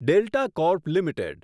delta corp limited